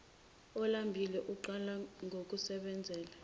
olambile uqala ngokusebenzela